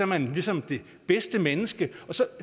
man ligesom det bedste menneske så